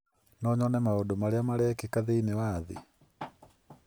no nyone maũndũ marĩa marekĩka thĩinĩ wa thĩ.